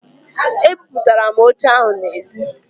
E buputara m oche ahụ n'ezi